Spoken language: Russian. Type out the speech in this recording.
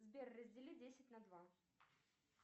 сбер раздели десять на два